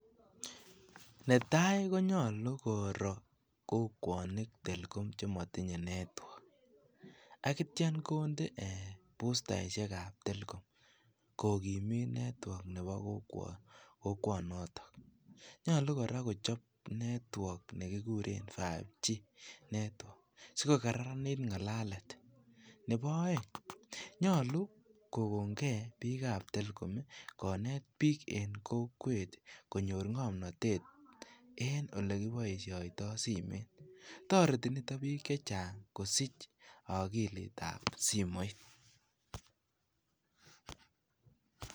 Netai konyolu koroi kokwoni telcom chemotinye network akitya konde bustaishekab telcom kogimit network nebo kokwonotok. Nyolu kora kochop network nekikiren 5G network sikokararanit ngalalet. Nebo oeng' nyolu, kogong'e biik ab telcom konet biik en kokwet konyor ng'omnotet en olekiboisioito simet. Toreti nito biik chechang kosich okilit ab simoit.